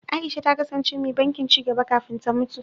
Aisha ta kasance mai bankin ci gaba kafin ta mutu.